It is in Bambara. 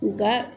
Nga